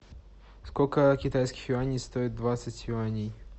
сколько китайских юаней стоит двадцать юаней